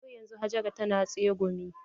Har yanzun Hajara tana tsegumi?